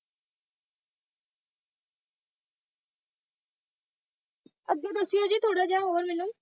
ਅੱਗੇ ਦੱਸਿਓ ਜੀ ਥੋੜ੍ਹਾ ਜਿਹਾ ਹੋਰ ਮੈਨੂੰ,